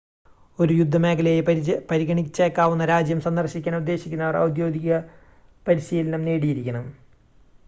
ഒരു യുദ്ധമേഖലയായി പരിഗണിച്ചേക്കാവുന്ന രാജ്യം സന്ദർശിക്കാൻ ഉദ്ദേശിക്കുന്നവർ ഔദ്യോഗിക പരിശീലനം നേടിയിരിക്കണം